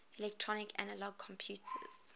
electronic analog computers